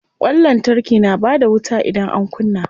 Ƙwan lantarki na bada wuta idan an kunna.